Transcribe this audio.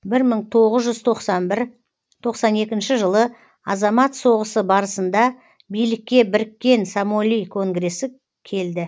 бір мың тоғыз жүз тоқсан бір тоқсан екінші жылы азамат соғысы барысында билікке біріккен самоли конгресі келді